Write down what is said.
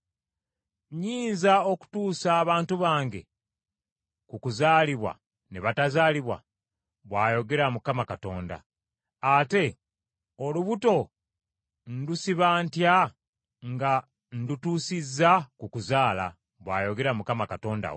Nnyinza okutuusa abantu bange ku kuzaalibwa ne batazaalibwa?” bw’ayogera Mukama Katonda. “Ate olubuto ndusiba ntya nga ndutuusizza ku kuzaala?” bw’ayogera Mukama Katonda wo.